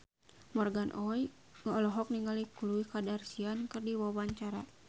Morgan Oey olohok ningali Khloe Kardashian keur diwawancara